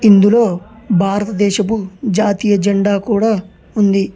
ఇందులో భారతదేశపు జాతీయ జెండా కూడా ఉంది.